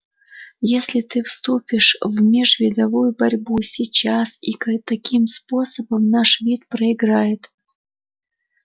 если ты вступишь в межвидовую борьбу сейчас и таким способом наш вид проиграет